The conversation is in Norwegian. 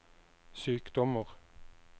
sykdommer